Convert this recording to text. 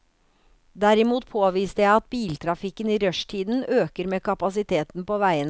Derimot påviste jeg at biltrafikken i rushtiden øker med kapasiteten på veiene.